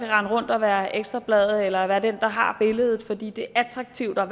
rende rundt og være ekstra bladet eller være den der har billedet fordi det er attraktivt at